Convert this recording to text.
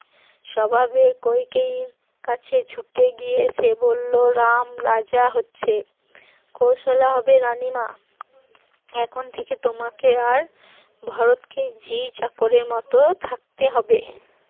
স্বভাবেই কইকেয়ীর কাছে ছুটে গিয়ে সে বলল, রাম রাজা হচ্ছে কৌশল্যা হবে রানী মা এখন থেকে তোমাকে আর ভরতকে ঝি চাকরের মত থাকতে হবে